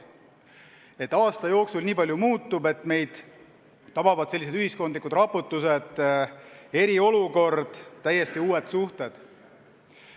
Ma ei teadnud, et aasta jooksul nii palju muutub, et meid tabavad sellised ühiskondlikud raputused, eriolukord, täiesti uued suhted.